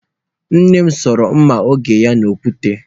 Nne m soro mma oge ya n'okwute.